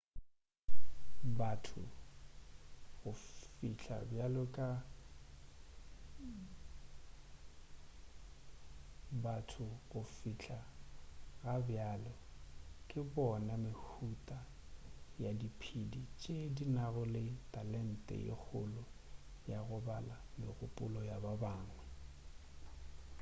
batho go fihla ga bjale ke bona mehuta ya diphedi tše di nago le talente ye kgolo ya go bala megopolo ya ba bangwe